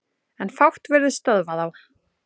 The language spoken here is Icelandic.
En fátt virðist stöðva þá.